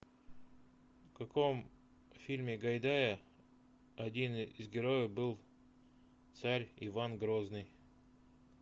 в каком фильме гайдая один из героев был царь иван грозный